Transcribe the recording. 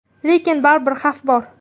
Lekin baribir xavf bor.